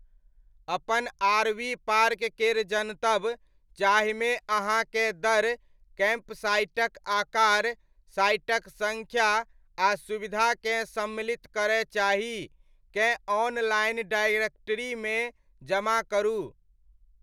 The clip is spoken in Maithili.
अपन आरवी पार्क केर जनतब, जाहिमे अहाँकेँ दर, कैम्पसाइटक आकार, साइटक सङ्ख्या, आ सुविधाकेँ सम्मिलित करय चाही, केँ ऑनलाइन डायरेक्टरीमे जमा करू।